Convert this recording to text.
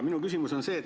Minu küsimus on selline.